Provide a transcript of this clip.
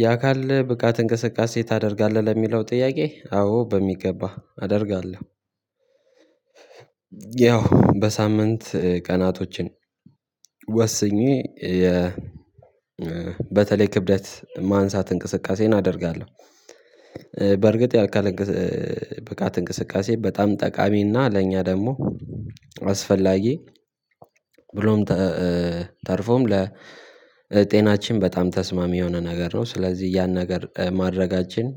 የአካል ብቃት እንቅስቃሴ ታደርጋለህ ለሚለው ጥያቄ አዎ በሚገባ አደርጋለሁ። ያው በሳምንት ቀናቶችን ወስኜ የ በተለይ ክብደት ማንሳት እንቅስቃሴን አደርጋለሁ። በርግጥ ያካል ብቃት እንቅስቃሴ በጣም ጠቃሚ እና ለእኛ ደግሞ አስፈላጊ ብሎም ተርፎም ለጤናችን በጣም ተስማሚ የሆነ ነገር ነው። ስለዚህ ያን ነገር ማድረጋችን